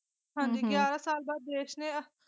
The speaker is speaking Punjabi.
ਹਾਂਜੀ ਹਮ ਗਿਆਰਾ ਸਾਲ ਬਾਅਦ ਦੇਸ਼ ਨੇ।